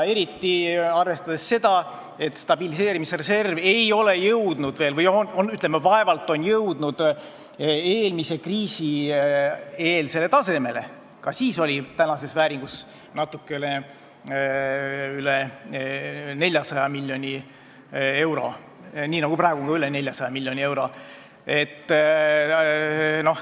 Eriti arvestades seda, et stabiliseerimisreserv on vaevalt jõudnud eelmise kriisi eelsele tasemele: tänases vääringus oli seal siis natuke üle 400 miljoni euro, nii nagu ka praegu on seal üle 400 miljoni euro.